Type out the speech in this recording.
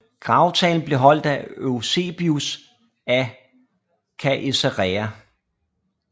Gravtalen blev holdt af Eusebius af Caesarea